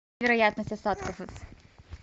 вероятность осадков